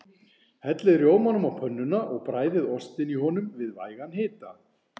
Hellið rjómanum á pönnuna og bræðið ostinn í honum við vægan hita.